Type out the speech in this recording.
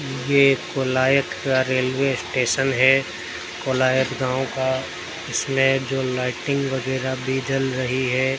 ये कोलायत का railway station है कोलायत गांव का इसमें जो लाइटिंग वगैरा भी जल रही है।